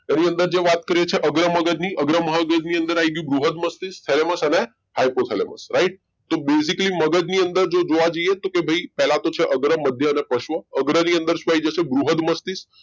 એની અંદર જે વાત કરીએ છીએ અગ્ર મગજની અગ્ર મગજ ની અંદર આવી ગયું બૃહદ મસ્તિષ્ક thalamus અને hypothalamus right તો basically મગજ ની અંદર જો જોવા જઈએ તો ભાઈ પહેલા તો છે અગ્ર મધ્ય અને પશ્વ અગ્ર ની અંદર શું આવી જશે બૃહદ મસ્તિષ્ક